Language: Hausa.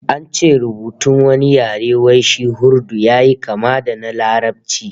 An ce rubutun wani yare wai shi Urdu yayi kama da na Larabci